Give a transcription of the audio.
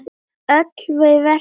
Öll við verslum í búð.